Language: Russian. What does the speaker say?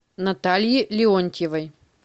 натальи леонтьевой